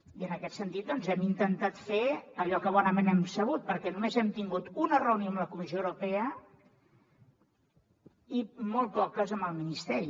i en aquest sentit doncs hem intentat fer allò que bonament hem sabut perquè només hem tingut una reunió amb la comissió europea i molt poques amb el ministeri